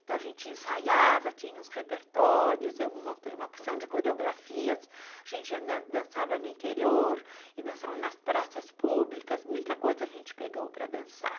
Então, a gente ensaiava, tinha uns repertórios, eu montei uma porção de coreografias, a gente dançava no interior e dançava nas praças públicas, muita coisa a gente pegou para dançar.